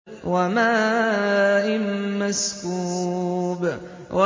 وَمَاءٍ مَّسْكُوبٍ